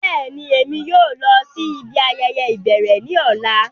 Bẹ́ẹ̀ni, Émi yóò lọ si ibi ayẹyẹ ibẹrẹ ni ọla.